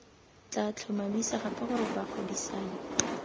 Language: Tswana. tla tlhomamisa gape gore bagwebisani